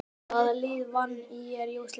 Hvaða lið vann ÍR í úrslitaleiknum?